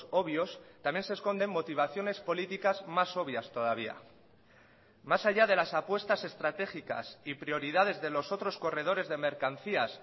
obvios también se esconden motivaciones políticas más obvias todavía más allá de las apuestas estratégicas y prioridades de los otros corredores de mercancías